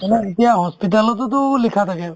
আমাৰ এতিয়া hospital তোতো লিখা থাকে